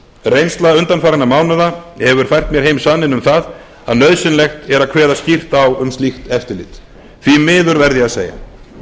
reynsla undanfarinna mánaða hefur fært mér heim sanninn um það að nauðsynlegt er að kveða skýrt á um slíka eftirlit því miður verð ég að segja